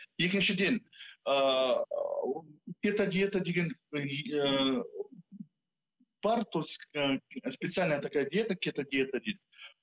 екіншіден ыыы кето диета деген ыыы бар специальная такая диета кето диета дейді